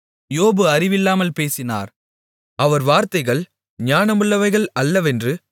யோபு அறிவில்லாமல் பேசினார் அவர் வார்த்தைகள் ஞானமுள்ளவைகள் அல்லவென்று